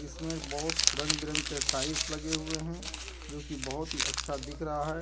इसमें बहुत रंग बिरंग के टाइल्स लगे हुए है जो की बहुत ही अच्छा दिख रहा है।